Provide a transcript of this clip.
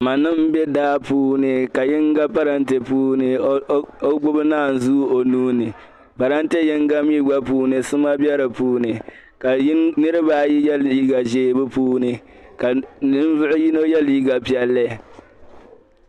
manima be daa puuni, ka yiŋa parante puuni . ka o gbubi naan zuu. onuuni parante, yiŋ puuni sima be di puuni ka niriba ayi ye liiga zɛɛ dipuuni ka ninvuɣu ye liiga piɛli